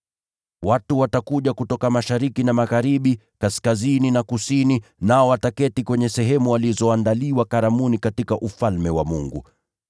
Watu watatoka mashariki na magharibi, kaskazini na kusini, nao wataketi kwenye sehemu walizoandaliwa karamuni katika Ufalme wa Mungu.